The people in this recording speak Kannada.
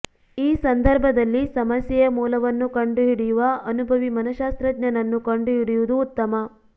ಈ ಸಂದರ್ಭದಲ್ಲಿ ಸಮಸ್ಯೆಯ ಮೂಲವನ್ನು ಕಂಡುಹಿಡಿಯುವ ಅನುಭವಿ ಮನಶ್ಶಾಸ್ತ್ರಜ್ಞನನ್ನು ಕಂಡುಹಿಡಿಯುವುದು ಉತ್ತಮ